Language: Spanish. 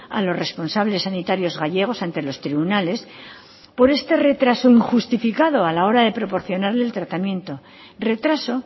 a los responsables sanitarios gallegos ante los tribunales por este retraso injustificado a la hora de proporcionarle el tratamiento retraso